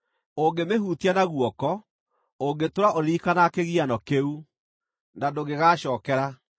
Ũngĩmĩhutia na guoko, ũngĩtũũra ũririkanaga kĩgiano kĩu, na ndũngĩgacookera!